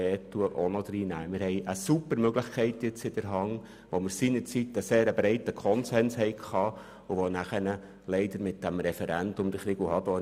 Wir haben damit eine ausgezeichnete Möglichkeit in der Hand, bei der wir seinerzeit einen sehr breiten Konsens hatten und nachher beim Referendum unterlagen.